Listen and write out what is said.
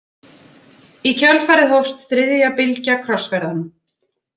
Í kjölfarið hófst þriðja bylgja krossferðanna.